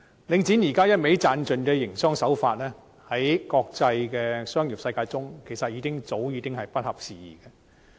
領展現時只顧"賺盡"的營商手法，在國際商業世界中其實早已不合時宜。